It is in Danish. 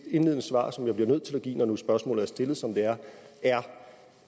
indledende svar som jeg bliver nødt til at give når nu spørgsmålet er stillet som det er er